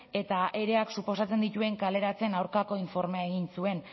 eta ereak suposatzen dituen kaleratzeen aurkako informea egin zuen